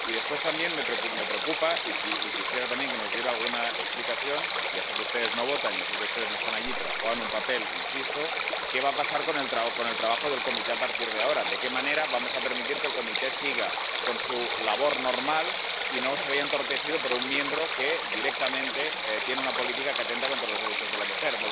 Y, después, también me preocupa, y quisiera también que nos diera alguna explicación —ya sé que ustedes no votan, ya sé que ustedes no están allí, pero juegan un papel, insisto—, qué va a pasar con el trabajo de la Comisión a partir de ahora, de qué manera vamos a permitir que la Comisión siga con su labor normal y no se vea entorpecida por un miembro que directamente tiene una política que atenta contra los derechos de la mujer.